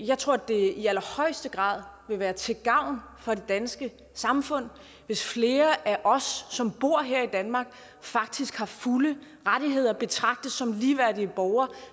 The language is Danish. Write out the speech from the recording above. jeg tror det i allerhøjeste grad vil være til gavn for det danske samfund hvis flere af os som bor her i danmark faktisk har fulde rettigheder og betragtes som ligeværdige borgere